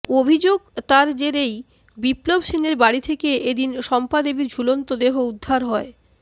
অভিযোগ তার জেরেই বিপ্লব সেনের বাড়ি থেকে এদিন শম্পাদেবীর ঝুলন্ত দেহ উদ্ধার হয়